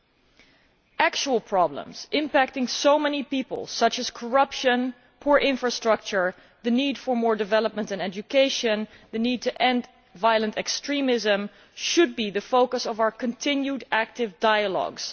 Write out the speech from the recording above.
Genuine problems that impact on so many people, such as corruption, poor infrastructure, the need for more for development and education, and the need to end violent extremism, should be the focus of our continued active dialogues.